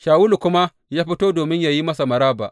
Shawulu kuma ya fito domin yă yi masa maraba.